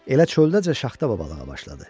Elə çöldəcə Şaxta babalığa başladı.